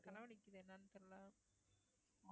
தலை வலிக்குது என்னன்னு தெரியலே